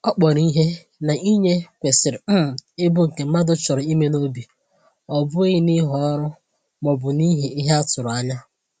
Ọ kpọrọ ihe na inye kwesịrị um ịbụ nke mmadụ chọrọ ime n’obi, ọ bụghị n’ihi ọrụ ma ọ bụ n’ihi ihe a tụrụ anya.